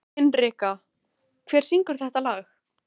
Hinrikka, hver syngur þetta lag?